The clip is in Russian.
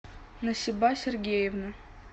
насиба сергеевна